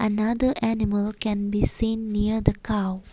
rather animal can be seen near the cow.